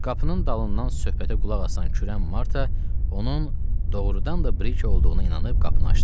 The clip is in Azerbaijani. Qapının dalından söhbətə qulaq asan kürən Marta onun doğrudan da Brike olduğuna inanıb qapını açdı.